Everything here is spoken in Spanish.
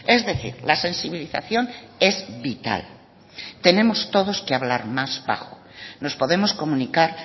es decir la sensibilización es vital tenemos todos que hablar más bajo nos podemos comunicar